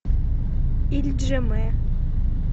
ильджимэ